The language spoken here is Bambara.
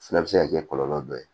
Fana bɛ se ka kɛ kɔlɔlɔ dɔ ye